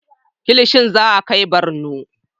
Kilishi za a kai Barno